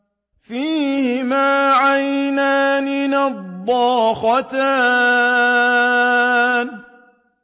فِيهِمَا عَيْنَانِ نَضَّاخَتَانِ